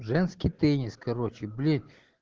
женский теннис короче блин